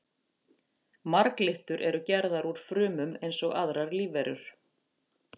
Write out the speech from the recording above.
Marglyttur eru gerðar úr frumum eins og aðrar lífverur.